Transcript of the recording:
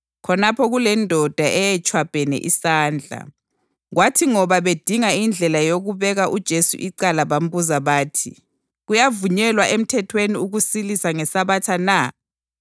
khonapho kulendoda eyayitshwabhene isandla. Kwathi ngoba bedinga indlela yokubeka uJesu icala bambuza bathi, “Kuyavunyelwa emthethweni ukusilisa ngeSabatha na?”